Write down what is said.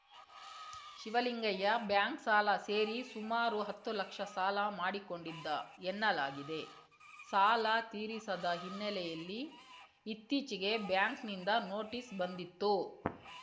Shivalingaiah bank ಸಾಲ ಸೇರಿ ಸುಮಾರು ಹತ್ತು ಲಕ್ಷ ಸಾಲ ಮಾಡಿಕೊಂಡಿದ್ದ ಎನ್ನಲಾಗಿದೆ ಸಾಲ ತೀರಿಸದ ಹಿನ್ನೆಲೆಯಲ್ಲಿ ಇತ್ತೀಚೆಗೆ ಬ್ಯಾಂಕ್‌ನಿಂದ ನೋಟಿಸ್‌ ಬಂದಿತ್ತು